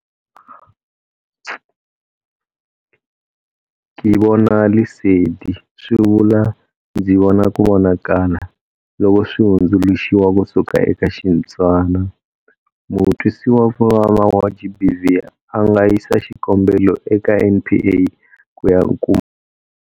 Ke Bona Lesedi swi vula 'Ndzi vona ku vonakala'loko swi hundzuluxiwa ku suka eka Xitswana. Mutwisiwakuvava wa GBV a nga yisa xikombelo eka NPA ku ya kuma mpfuno.